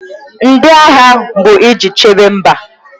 Ndị agha bụ iji chebe mba.